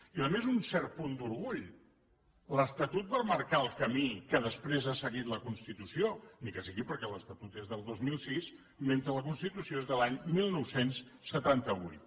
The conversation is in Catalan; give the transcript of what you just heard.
i a més un cert punt d’orgull l’estatut va marcar el camí que després ha seguit la constitució ni que sigui perquè l’estatut és del dos mil sis mentre la constitució és de l’any dinou setanta vuit